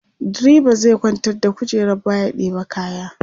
driba zai kwantar da kujerar baya ya ɗeba kaya